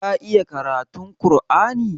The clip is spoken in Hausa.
Ka iya karatun ƙur'ani?